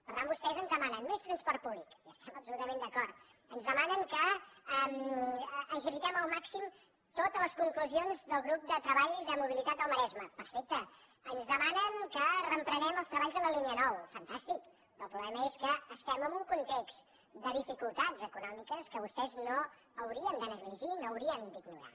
per tant vostès ens demanen més transport públic hi estem absolutament d’acord ens demanen que agilitem al màxim totes les conclusions del grup de treball de mobilitat del maresme perfecte ens demanen que reprenem els treballs de la línia nou fantàstic però el problema és que estem en un context de dificultats econòmiques que vostès no haurien de negligir no haurien d’ignorar